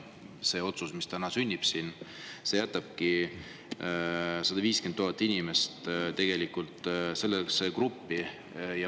See otsus, mis täna siin sünnib, jätabki 150 000 inimest sellesse gruppi.